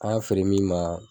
An y'a feere min ma